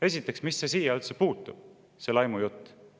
Esiteks, mis see siia üldse puutub, see laimujutt?